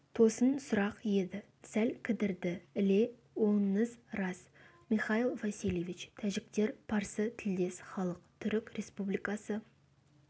тосын сұрақ еді сәл кідірді іле оныңыз рас михаил васильевич тәжіктер парсы тілдес халық түрік республикасы